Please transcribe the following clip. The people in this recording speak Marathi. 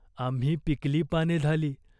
"आम्ही पिकली पाने झाली.